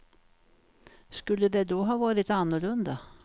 Skulle det då ha varit annorlunda?